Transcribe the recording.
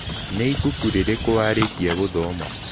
Nĩ ibuku rĩrĩkũ warĩkia gũthoma?